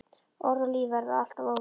Orð og líf verða alltaf óvinir.